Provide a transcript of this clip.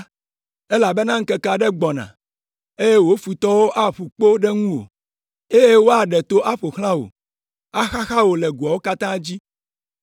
Elabena ŋkeke aɖe gbɔna, eye wò futɔwo aƒu kpo ɖe ŋuwò, eye woaɖe to aƒo xlã wò, axaxa wò le goawo katã dzi,